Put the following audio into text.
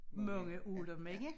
Mange af dem ikke